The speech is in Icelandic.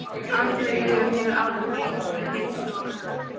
Andleg líðan hefur áhrif á líkamlega heilsu og öfugt.